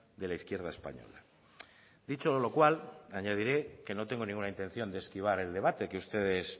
de la izquierda española dicho lo cual añadiré que no tengo ninguna intención de esquivar el debate que ustedes